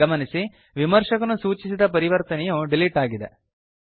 ಗಮನಿಸಿ ವಿಮರ್ಶಕನು ಸೂಚಿಸಿದ ಪರಿವರ್ತನೆಯು ಡಿಲೀಟ್ ಆಗಿದೆ